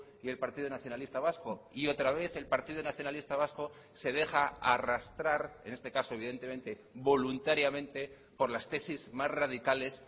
y el partido nacionalista vasco y otra vez el partido nacionalista vasco se deja arrastrar en este caso evidentemente voluntariamente por las tesis más radicales